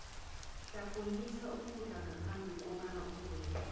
hlafunyisisa ukudla ngaphambhi kobana uginye